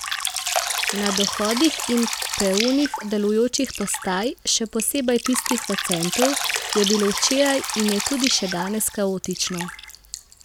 Na dohodih in peronih delujočih postaj, še posebej tistih v centru, je bilo včeraj in je tudi še danes kaotično.